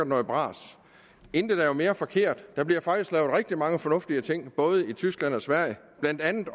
noget bras intet er jo mere forkert der bliver faktisk lavet rigtig mange fornuftige ting i både tyskland og sverige blandt andet